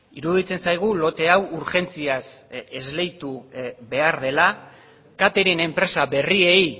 iruditzen zaigu lote hau urgentziaz esleitu behar dela catering enpresa berriei